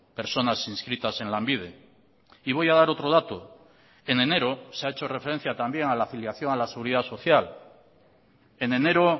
personas inscritas en lanbide y voy a dar otro dato en enero se ha hecho referencia también a la afiliación a la seguridad social en enero